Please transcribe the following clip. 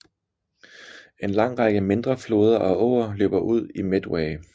En lang række mindre floder og åer løber ud i Medway